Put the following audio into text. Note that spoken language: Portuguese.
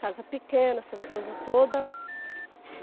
Casa pequena, essas coisas todas.